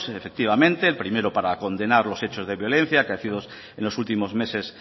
efectivamente el primero para condenar los hechos de violencia acaecidos en los últimos meses